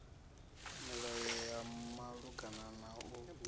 milayo ya malugana na u